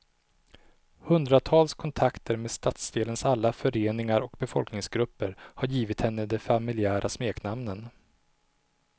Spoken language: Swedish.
Hundratals kontakter med stadsdelens alla föreningar och befolkningsgrupper har givit henne de familjära smeknamnen.